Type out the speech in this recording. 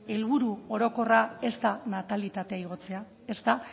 helburu orokorra ez da natalitatea igotzea ez da